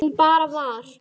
Hún bara var.